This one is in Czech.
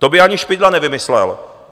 To by ani Špidla nevymyslel.